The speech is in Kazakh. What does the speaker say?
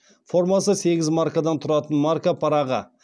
формасы сегіз маркадан тұратын марка парағы